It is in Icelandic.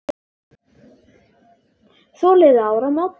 Svo liðu áramót.